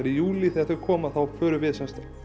í júlí þegar þau koma þá förum við